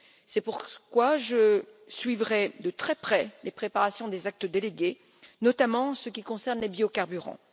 C'est pourquoi, je suivrai de très près les préparations des actes délégués, notamment en ce qui concerne les biocarburants.